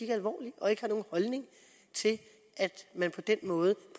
alvorligt og ikke har nogen holdning til at man på den måde